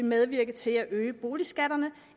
medvirke til at øge boligskatterne